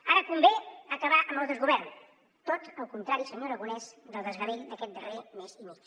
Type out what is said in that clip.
ara convé acabar amb el desgovern tot el contrari senyor aragonès del desgavell d’aquest darrer mes i mig